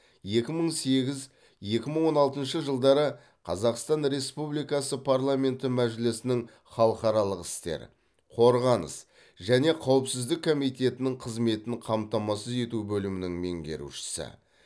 екі мың сегіз екі мың он алтыншы жылдары қазақстан республикасы парламенті мәжілісінің халықаралық істер қорғаныс және қауіпсіздік комитетінің қызметін қамтамасыз ету бөлімінің меңерушісі